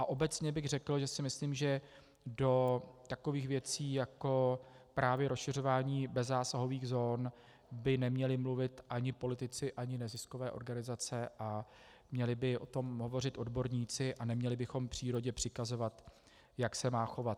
A obecně bych řekl, že si myslím, že do takových věcí jako právě rozšiřování bezzásahových zón by neměli mluvit ani politici, ani neziskové organizace, a měli by o tom hovořit odborníci a neměli bychom přírodě přikazovat, jak se má chovat.